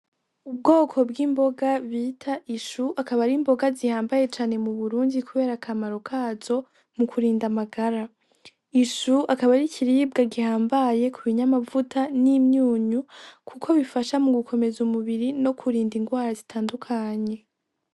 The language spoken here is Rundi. Ubwoko bw'imboga bita ishu akaba ari imboga bihambaye cane mu Burundi kubera akamaro kazo mu kurinda amagara, ishu akaba ari ikiribwa gihambaye ku binyamavuta n'imyunyu kuko bifasha mu gukomeza umubiri no kurinda ingwara zitandukanye.